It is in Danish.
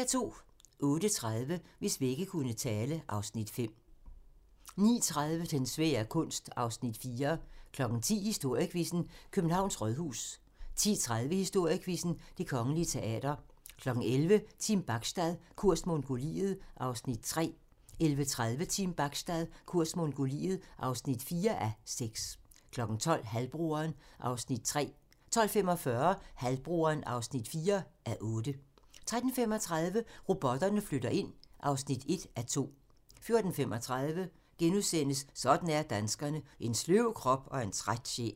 08:30: Hvis vægge kunne tale (Afs. 5) 09:30: Den svære kunst (Afs. 4) 10:00: Historiequizzen: Københavns Rådhus 10:30: Historiequizzen: Det Kongelige Teater 11:00: Team Bachstad - kurs Mongoliet (3:6) 11:30: Team Bachstad - kurs Mongoliet (4:6) 12:00: Halvbroderen (3:8) 12:45: Halvbroderen (4:8) 13:35: Robotterne flytter ind (1:2) 14:35: Sådan er danskerne: En sløv krop og en træt sjæl *